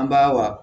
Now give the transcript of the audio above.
An ba wa